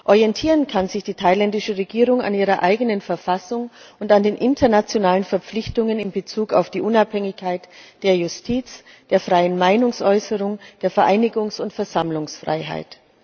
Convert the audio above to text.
Orientieren kann sich die thailändische Regierung an ihrer eigenen Verfassung und an den internationalen Verpflichtungen in Bezug auf die Unabhängigkeit der Justiz, die freie Meinungsäußerung, die Vereinigungs und Versammlungsfreiheit.